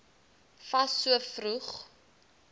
fas so vroeg